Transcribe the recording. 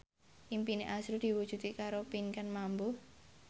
impine azrul diwujudke karo Pinkan Mambo